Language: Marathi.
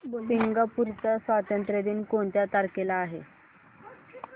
सिंगापूर चा स्वातंत्र्य दिन कोणत्या तारखेला आहे